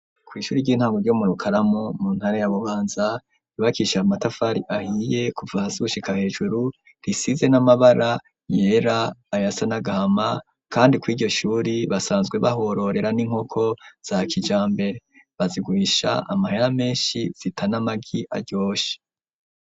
Kw'ishure ry'intango ryo mu Rukaramu mu ntara ya Bubanza ryubakishije matafari ahiye kuva hasi gushika hejuru risize n'amabara yera ayasa n'agahama kandi kw'iryo shure basanzwe bahororera n'inkoko za kijambere. Baziguhisha amahera menshi zita n'amagi aryoshe.